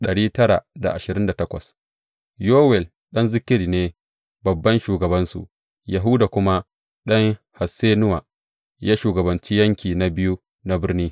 Yowel ɗan Zikri ne babban shugabansu, Yahuda kuma ɗan Hassenuwa, ya shugabanci Yanki na Biyu na birni.